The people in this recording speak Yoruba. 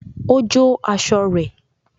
Ó jó aṣọ rẹ̀